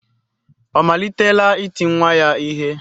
Ọ malitela iti nwa ya ihe?